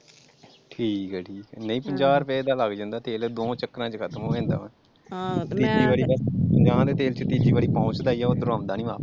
ਠੀਕਾ ਠੀਕ ਨਹੀਂ ਪੰਜਾਹ ਰੁਪਏ ਦਾ ਲੱਗ ਜਾਂਦਾ ਤੇਲ ਦੋਹਾਂ ਚੱਕਰਾਂ ਚ ਖ਼ਤਮ ਹੋ ਜਾਂਦਾ ਤੀਜੀ ਵਾਰੀ ਪੰਜਾਹਾਂ ਦੇ ਤੇਲ ਚ ਪੋਂਛ ਦਾ ਈ ਓਧਰੋ ਆਉਂਦਾ ਨੀ ਵਾਪਸ ।